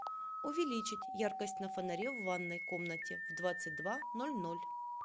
увеличить яркость на фонаре в ванной комнате в двадцать два ноль ноль